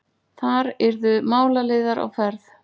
Þar yrðu málaliðar á ferð.